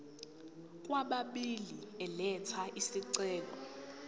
kwababili elatha isicelo